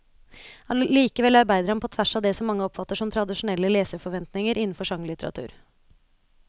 Allikevel arbeider han på tvers av det som mange oppfatter som tradisjonelle leserforventninger innenfor sjangerlitteratur.